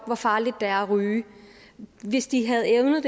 hvor farligt det er at ryge hvis de havde evnet